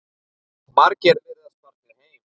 Margir virðast farnir heim.